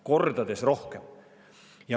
Kordades rohkem!